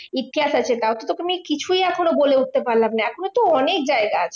ইতিহাস আছে তাও কিন্তু তোমায় কিছুই এখনো বলে উঠতে পারলাম না, এখনও তো অনেক জায়গা আছে।